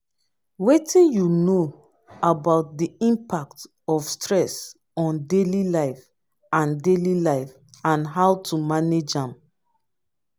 wetin you know about di impact of stress on daily life and daily life and how to manage am?